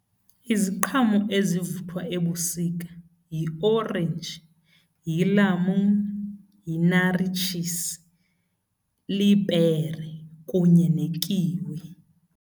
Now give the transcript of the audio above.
Iziqhamo ezivuthwa ebusika yiorenji, yilamuni, yinarityisi, lipere kunye nekiwi.